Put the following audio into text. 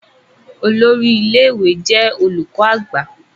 olórí ilé ìwé jé olùkó àgbà.